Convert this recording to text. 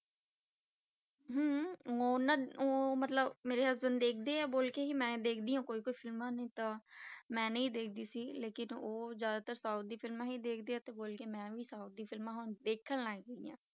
ਹਮ ਉਹਨਾਂ ਉਹ ਮਤਲਬ ਮੇਰੇ husband ਦੇਖਦੇ ਆ ਬੋਲ ਕੇ ਹੀ ਮੈਂ ਦੇਖਦੀ ਹਾਂ ਕੋਈ ਕੋਈ ਫਿਲਮਾਂ ਨਹੀਂ ਤਾਂ, ਮੈਂ ਨਹੀਂ ਦੇਖਦੀ ਸੀ ਲੇਕਿੰਨ ਉਹ ਜ਼ਿਆਦਾਤਰ south ਦੀ ਫਿਲਮਾਂ ਹੀ ਦੇਖਦੇ ਆ, ਤੇ ਬੋਲ ਕੇ ਮੈਂ ਵੀ ਸਾਊਥ ਦੀ ਫਿਲਮਾਂ ਹੁਣ ਦੇਖਣ ਲੱਗ ਪਈ ਹਾਂ।